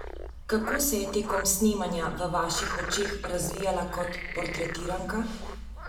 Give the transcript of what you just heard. Kako se je tekom snemanja v vaših očeh razvijala kot portretiranka?